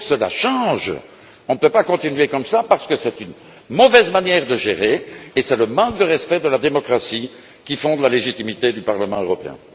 Il faut que cela change. On ne peut pas continuer ainsi parce que c'est une mauvaise manière de gérer et c'est une marque de non respect de la démocratie qui fonde la légitimité du Parlement européen.